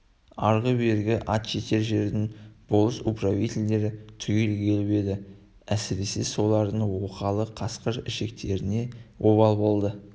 арғы-бергі ат жетер жердің болыс-управительдері түгел келіп еді әсіресе солардың оқалы қасқыр ішіктеріне обал болды